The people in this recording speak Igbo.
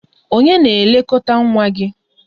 Ònye na-elekọta nwa gị?